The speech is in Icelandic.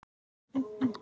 Hvernig þvoum við fötin?